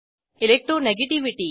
electronegativity 2